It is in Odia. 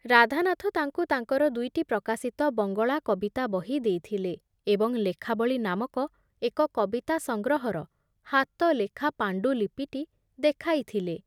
ରାଧାନାଥ ତାଙ୍କୁ ତାଙ୍କର ଦୁଇଟି ପ୍ରକାଶିତ ବଙ୍ଗଳା କବିତା ବହି ଦେଇଥିଲେ ଏବଂ ଲେଖାବଳୀ ନାମକ ଏକ କବିତା ସଂଗ୍ରହର ହାତଲେଖା ପାଣ୍ଡୁଲିପିଟି ଦେଖାଇଥିଲେ ।